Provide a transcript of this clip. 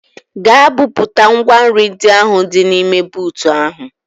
Gaa bupụta ngwa nri ndị ahụ dị n'ime buutu ahụ!